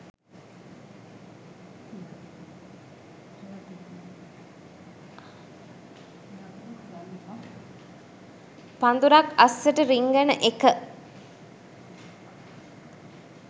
පඳුරක් අස්සට රිංගන එක